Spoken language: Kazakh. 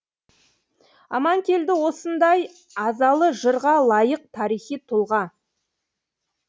аманкелді осындай азалы жырға лайық тарихи тұлға